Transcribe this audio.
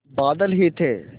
बादल ही थे